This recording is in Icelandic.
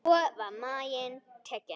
Svo var maginn tekinn.